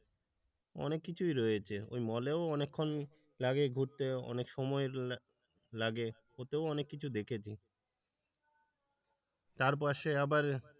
অনেক কিছুই রয়েছে। ওই মলেও অনেকক্ষণ লাগে ঘুরতে অনেক সময় লাগে ওতেও অনেক কিছু দেখেছি চারপাশে আবার,